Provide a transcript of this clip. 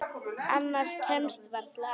Annað kemst varla að.